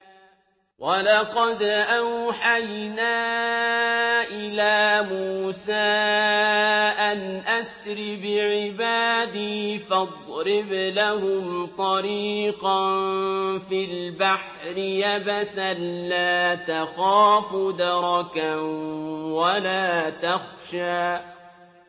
وَلَقَدْ أَوْحَيْنَا إِلَىٰ مُوسَىٰ أَنْ أَسْرِ بِعِبَادِي فَاضْرِبْ لَهُمْ طَرِيقًا فِي الْبَحْرِ يَبَسًا لَّا تَخَافُ دَرَكًا وَلَا تَخْشَىٰ